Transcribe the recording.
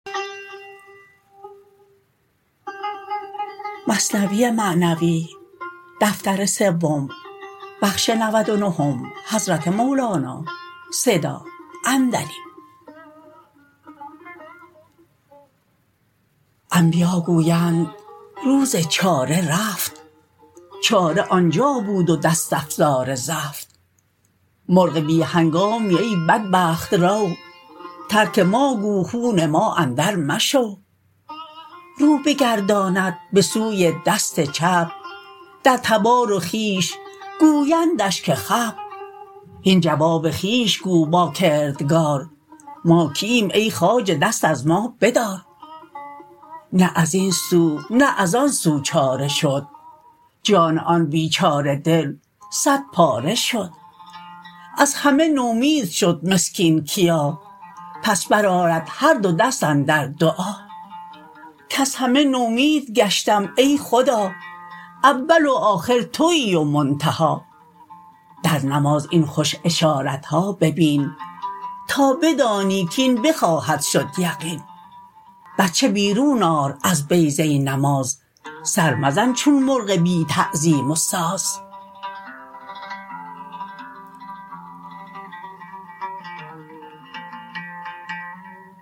انبیا گویند روز چاره رفت چاره آنجا بود و دست افزار زفت مرغ بی هنگامی ای بدبخت رو ترک ما گو خون ما اندر مشو رو بگرداند به سوی دست چپ در تبار و خویش گویندش که خپ هین جواب خویش گو با کردگار ما کییم ای خواجه دست از ما بدار نه ازین سو نه از آن سو چاره شد جان آن بیچاره دل صد پاره شد از همه نومید شد مسکین کیا پس برآرد هر دو دست اندر دعا کز همه نومید گشتم ای خدا اول و آخر توی و منتها در نماز این خوش اشارتها ببین تا بدانی کین بخواهد شد یقین بچه بیرون آر از بیضه نماز سر مزن چون مرغ بی تعظیم و ساز